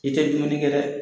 I tɛ dumuni kɛ dɛ.